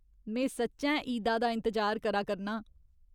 में सच्चैं ईदा दा इंतजार करा करनां।